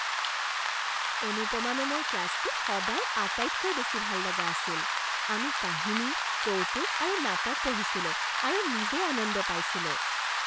অনুপমা মেমৰ ক্লাছটো সদায় আটাইতকৈ বেছি ভাললগা আছিল। আমি কাহিনী, কৌতুক আৰু নাটক পঢ়িছিলো আৰু নিজেই আনন্দ পাইছিলোঁ।